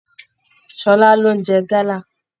Ṣọlá lo n jẹ gala.